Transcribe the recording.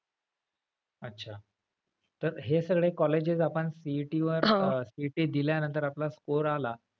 अच्छा तर हे सगळे colleges आपण CET वर CET दिल्यानंतर आपला score आला.